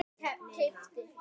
Stebbi var vinur minn.